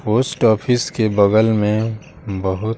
post office के बगल मेंबहु--